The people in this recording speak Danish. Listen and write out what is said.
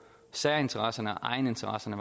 særinteresserne og egeninteresserne